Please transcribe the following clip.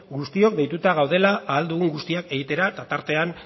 guztiok deituta gaudela ahal dugun guztia egitera eta tartean